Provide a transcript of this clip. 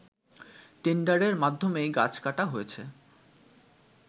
টেন্ডারের মাধ্যমেই গাছ কাটা হয়েছে